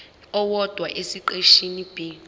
owodwa esiqeshini b